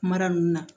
Mara ninnu na